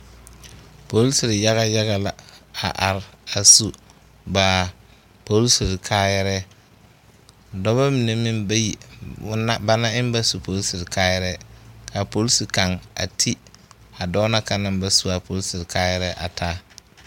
Poresiri yaga yaga la a are a su ba poresiri kaayarɛɛ dɔba mine meŋ bayi ɔn la ba na eŋ ba su a poresiri kaayarɛɛ ka a poresi kaŋ a ti a dɔɔ na kaŋ naŋ ba su a poresiri kaayarɛɛ a taa.